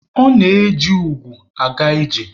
O na-eji ugwu aga ije.